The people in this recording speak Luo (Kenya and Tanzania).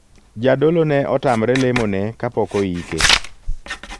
Jadolo ne otamre lemo ne kapok oike.